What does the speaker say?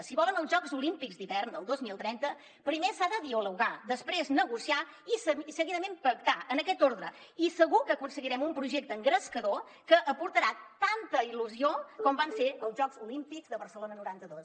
si volen els jocs olímpics d’hivern del dos mil trenta primer s’ha de dialogar després negociar i seguidament pactar en aquest ordre i segur que aconseguirem un projecte engrescador que aportarà tanta il·lusió com van ser els jocs olímpics de barcelona noranta dos